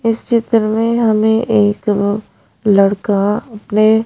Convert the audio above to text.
इस चित्र में हमें एक लड़का अपने--